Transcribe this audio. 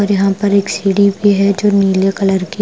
यहां पर एक सीडी भी है जो नीले कलर की--